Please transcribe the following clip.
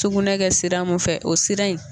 Tugunɛ kɛ sira mun fɛ o sira in.